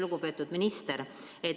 Lugupeetud minister!